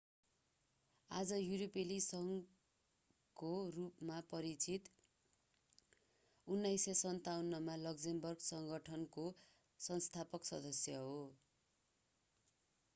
आज युरोपेली संघको रूपमा परिचित 1957 मा लक्जमबर्ग सङ्गठनको संस्थापक सदस्य हो